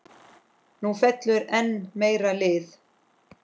Nú fellur enn meira lið.